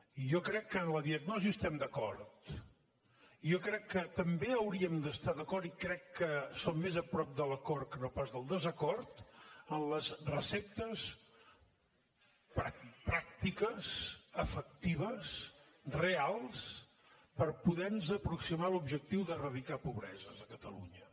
i jo crec que en la diagnosi estem d’acord jo crec que també hauríem d’estar d’acord i crec que som més a prop de l’acord que no pas del desacord en les receptes pràctiques efectives reals per poder nos aproximar a l’objectiu d’eradicar pobreses a catalunya